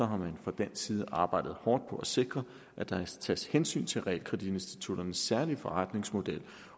har man fra dansk side arbejdet hårdt på at sikre at der tages hensyn til realkreditinstitutternes særlige forretningsmodel